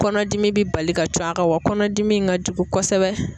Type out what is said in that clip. Kɔnɔdimi bi bali ka cun a kan wa kɔnɔdimi in ka jugu kosɛbɛ.